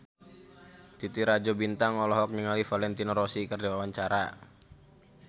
Titi Rajo Bintang olohok ningali Valentino Rossi keur diwawancara